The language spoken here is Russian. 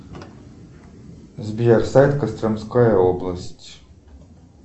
сбер сайт костромская область